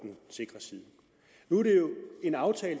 sikre side nu er det jo en aftale